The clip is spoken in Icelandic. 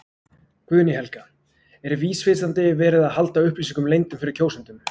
Guðný Helga: Er vísvitandi verið að halda upplýsingum leyndum fyrir kjósendum?